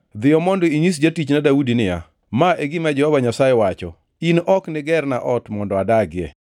“Dhiyo mondo inyis jatichna Daudi niya, ‘Ma e gima Jehova Nyasaye wacho: In ok nigerna ot mondo adagie.